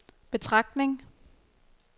betragtning